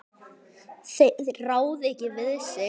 Þeir ráða ekki við sig.